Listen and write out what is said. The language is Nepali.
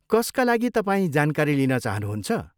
कसका लागि तपाईँ जानकारी लिन चाहनुहुन्छ?